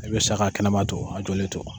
I bɛ sa ka kɛnɛma to a jɔlen to.